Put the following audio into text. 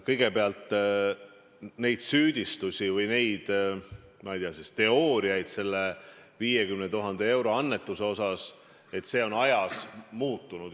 Kõigepealt, need süüdistused või, ma ei tea, teooriad selle 50 000 euro annetuse kohta – kõik on ajas muutunud.